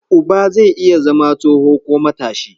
Uba zai iya zama tsoho ko matashi.